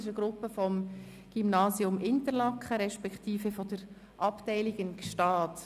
Es ist eine Gruppe vom Gymnasium Interlaken beziehungsweise von der Abteilung in Gstaad.